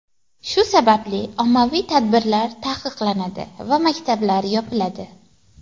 Shu sababli ommaviy tadbirlar taqiqlanadi va maktablar yopiladi.